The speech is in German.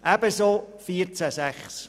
Dasselbe gilt für Artikel 14 Absatz 6(neu).